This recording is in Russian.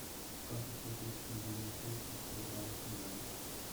как оплатить мобильную связь через сбербанк онлайн